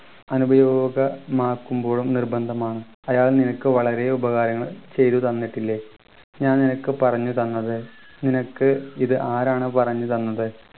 അനുപയോഗ മാക്കുമ്പോഴും നിർബന്ധമാണ് അയാൾ നിനക്ക് വളരെ ഉപകാരങ്ങൾ ചെയ്തു തന്നിട്ടില്ലേ ഞാൻ നിനക്ക് പറഞ്ഞു തന്നത് നിനക്ക് ഇത് ആരാണ് പറഞ്ഞത്